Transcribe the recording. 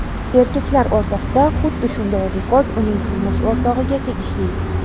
Erkaklar o‘rtasida xuddi shunday rekord uning turmush o‘rtog‘iga tegishli.